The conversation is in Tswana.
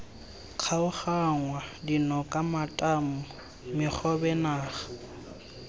kgaoganngwa dinoka matamo megobe naga